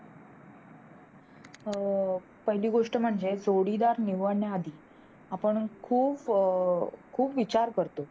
अं पहिली गोष्ट म्हणजे जोडीदार निवडण्या आधी आपण खूप खूप विचार करतो